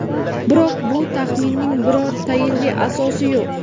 Biroq bu taxminning biror tayinli asosi yo‘q.